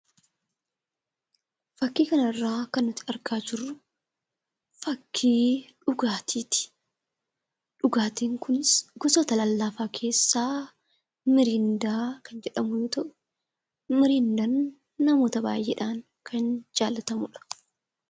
Fakkii kanarraa kan nuti argaa jirru fakkii dhugaatiiti. Dhugaatiin kunis gosoota lallaafaa keessaa 'mirindaa' kan jedhamu yoo ta'u, mirindaan namoota baay'eedhaan kan jaallatamudha.